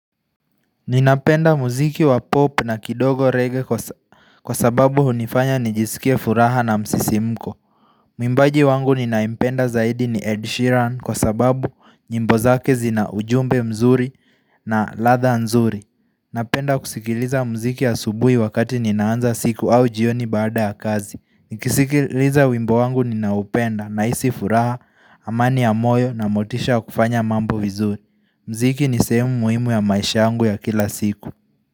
Ninapenda muziki wa pop na kidogo reggae kwa sababu hunifanya nijisikia furaha na msisimko. Mwimbaji wangu ninayempenda zaidi ni Ed Sheeran kwa sababu nyimbo zake zina ujumbe mzuri na ladha nzuri. Napenda kusikiliza muziki asubuhi wakati ninaanza siku au jioni baada ya kazi. Nikisikiliza wimbo wangu ninaupenda nahisi furaha, amani ya moyo na motisha ya kufanya mambo vizuri. Mziki ni sehemu muhimu ya maisha yangu ya kila siku.